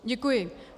Děkuji.